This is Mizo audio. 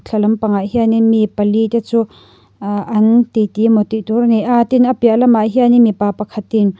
thla lampangah hianin mi pali te chu aaah an ti ti emaw tih tur a ni a tin an piah lamah hianin mipa pakhatin--